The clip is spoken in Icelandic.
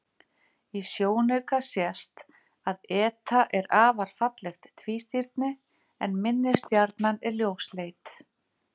Í sjónauka sést að eta er afar fallegt tvístirni en minni stjarnan er ljósleit.